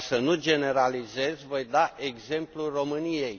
Ca să nu generalizez, voi da exemplul României.